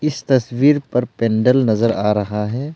इस तस्वीर पर पेंदल नजर आ रहा है।